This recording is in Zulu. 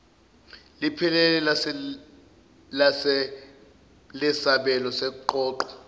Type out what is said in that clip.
liphelele lesabelo seqoqo